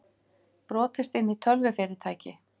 Brotist inn í tölvufyrirtæki